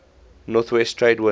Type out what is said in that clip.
northeast trade winds